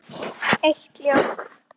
Eitt er ljóst.